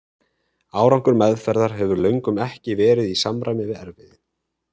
Árangur meðferðar hefur löngum ekki verið í samræmi við erfiði.